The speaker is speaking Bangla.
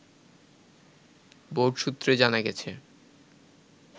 বোর্ড সুত্রে জানা গেছে